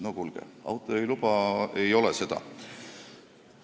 Noh, kuulge, autojuhiluba ei ole seda.